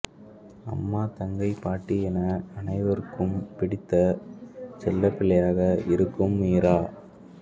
அம்மா தங்கை பாட்டி என அனைவருக்கும் பிடித்த செல்ல பிள்ளையாக இருக்கும் மீரா